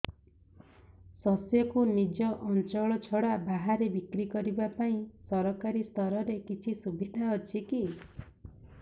ଶସ୍ୟକୁ ନିଜ ଅଞ୍ଚଳ ଛଡା ବାହାରେ ବିକ୍ରି କରିବା ପାଇଁ ସରକାରୀ ସ୍ତରରେ କିଛି ସୁବିଧା ଅଛି କି